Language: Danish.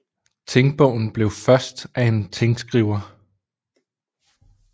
Tingbogen blev først af en tingskriver